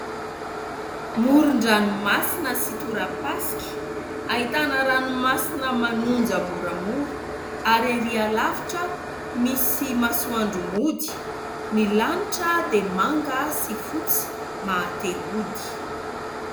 moryn-dranomasina sy torapasky ahitana ranomasina manonja moramora ary ery alavitra misy masoandromody ny lanitra dia manga sy fotsy mahatehodo